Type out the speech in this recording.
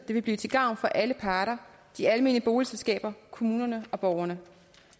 det vil blive til gavn for alle parter de almene boligselskaber kommunerne og borgerne